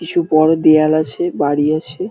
কিছু বড় দেয়াল আছে বাড়ি আছে।